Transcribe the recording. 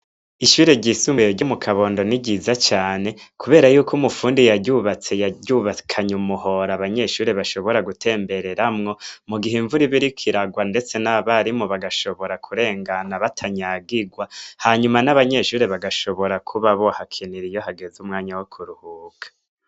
Ishure ryisumuye ry'umu kabondoni ryiza cane, kubera yuko umufundi yaryubatse yaryubakanye umuhora abanyeshure bashobora gutembereramwo mu gihe imvura ibiriko iragwa, ndetse n'abarimu bagashobora kurengana batanyagigwa hanyuma n'abanyeshure bagashobora kuba bo hakinira iyo hageze umwanya wo kuruhuka.